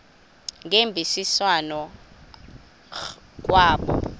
ngemvisiswano r kwabo